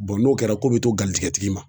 n'o kɛra ko be to galjigɛtigi ma.